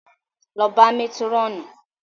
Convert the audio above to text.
Lọ bá Métírọ̀nù!